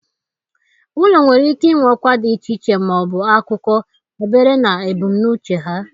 Ụlọ nwere ike inwe ọkwa dị iche iche ma ọ bụ akụkọ, dabere na ebumnuche ha